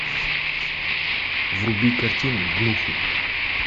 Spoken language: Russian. вруби картину гнуфы